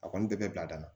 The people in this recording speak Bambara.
A kɔni bɛ bɛɛ bila da la